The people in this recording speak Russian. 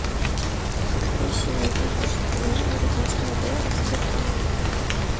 какой сегодня курс продажи американского доллара в сбербанке